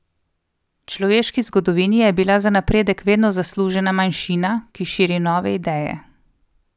V človeški zgodovini je bila za napredek vedno zaslužna manjšina, ki širi nove ideje.